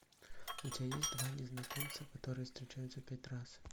у тебя есть два незнакомца которые встречаются пять раз